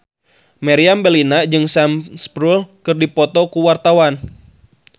Meriam Bellina jeung Sam Spruell keur dipoto ku wartawan